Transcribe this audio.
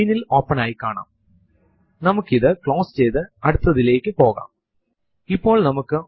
കൂടുതൽ പഠിക്കുനതിനുമുന്പു നമുക്ക് ഫൈൽസ് നെയും ഡയറക്ടറീസ് യെക്കുറിച്ചും പരിചയപെടാം